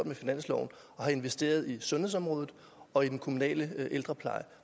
med finansloven investerer i sundhedsområdet og i den kommunale ældrepleje